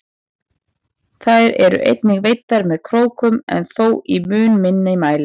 Þær eru einnig veiddar með krókum en þó í mun minni mæli.